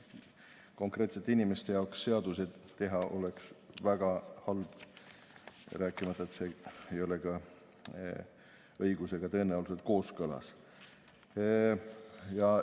Konkreetsete inimeste jaoks seadusi teha oleks väga halb, rääkimata sellest, et see ei ole tõenäoliselt ka õigusega kooskõlas.